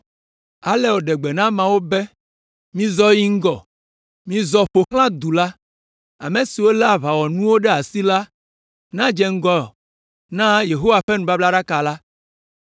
Ale wòɖe gbe na ameawo be, “Mizɔ yi ŋgɔ! Mizɔ ƒo xlã du la. Ame siwo lé aʋawɔnuwo ɖe asi la nedze ŋgɔ na Yehowa ƒe nubablaɖaka la.”